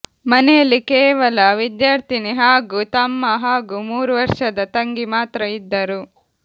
ಮನೆಯಲ್ಲಿ ಕೇವಲ ವಿದ್ಯಾರ್ಥಿನಿ ಹಾಗೂ ತಮ್ಮ ಹಾಗೂ ಮೂರು ವರ್ಷದ ತಂಗಿ ಮಾತ್ರ ಇದ್ದರು